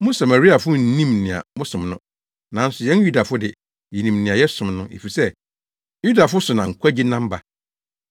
Mo Samariafo nnim nea mosom no. Nanso yɛn Yudafo de, yenim nea yɛsom no, efisɛ Yudafo so na nkwagye nam ba.